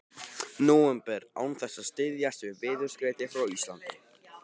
nóvember án þess að styðjast við veðurskeyti frá Íslandi.